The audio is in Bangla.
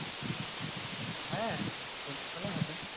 হ্যাঁ, সন্ধ্যা বেলায় হবে